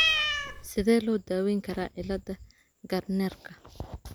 Sidee loo daweyn karaa cilada Gardnerka?